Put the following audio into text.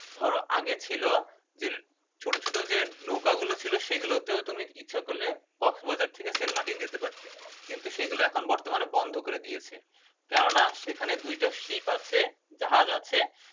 ধরো আগে ছিল যে ছোট ছোট যে নৌকা গুলো ছিল সেগুলোতেও তুমি ইচ্ছা করলে কফিবাজার থেকে সেন্ট মার্টিন যেতে পারতে কিন্তু সেগুলো এখন বর্তমানে বন্ধ করে দিয়েছে কেননা সেখানে দুটো ship আছে জাহাজ আছে